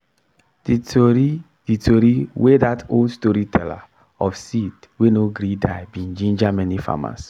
d tori d tori wey dat old storyteller of seed wey no gree die be ginger many farmers